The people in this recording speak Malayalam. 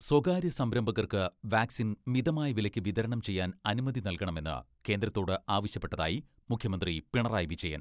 സ്വകാര്യ സംരംഭകർക്ക് വാക്സിൻ മിതമായ വിലയ്ക്ക് വിതരണം ചെയ്യാൻ അനുമതി നൽകണമെന്ന് കേന്ദ്രത്തോട് ആവശ്യപ്പെട്ടതായി മുഖ്യമന്ത്രി പിണറായി വിജയൻ.